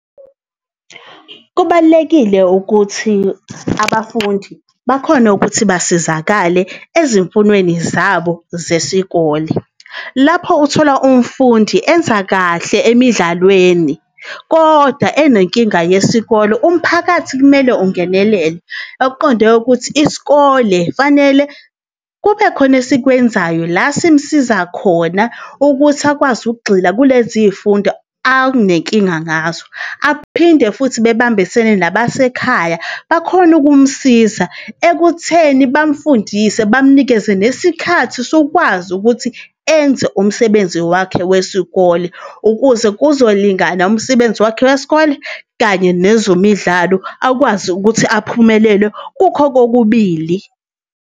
Kubalulekile ukuthi abafundi bakhone ukuthi basizakale ezimfunweni zabo zesikole. Lapho uthola umfundi enza kahle emidlalweni kodwa enenkinga yesikolo, umphakathi kumele ungenelele. Okuqonde ukuthi isikole fanele kube khona esikwenzayo la simsiza khona ukuthi akwazi ukugxila kule ziy'fundo akunenkinga ngazo. Aphinde futhi bebambisene nabasekhaya bakhone ukumsiza ekutheni bamfundise, bamnikeze nesikhathi sokwazi ukuthi enze umsebenzi wakhe wesikole. Ukuze kuzolingana umsebenzi wakhe wesikole kanye nezemidlalo, akwazi ukuthi aphumelele kukho kokubili.